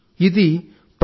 ఇది ప్రొఫా